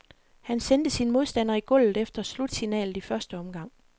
Han sendte sin modstander i gulvet efter slutsignalet i første omgang.